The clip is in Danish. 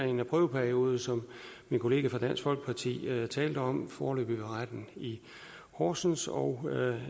en prøveperiode som min kollega fra dansk folkeparti talte om foreløbig ved retten i horsens og